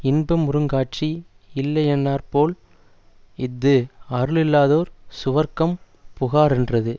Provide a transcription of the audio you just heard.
இன்பமுறுங்காட்சி யில்லையானாற்போல் இஃது அருளில்லாதார் சுவர்க்கம் புகாரென்றது